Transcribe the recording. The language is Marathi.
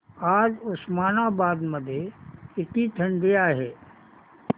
आज उस्मानाबाद मध्ये किती थंडी आहे